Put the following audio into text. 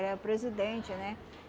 Ele era presidente, né?